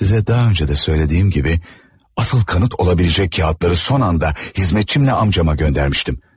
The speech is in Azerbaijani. Sizə daha öncə də söylədiyim kimi, asıl kanıt ola biləcək kağızları son anda hizmetçimlə amcama göndərmişdim.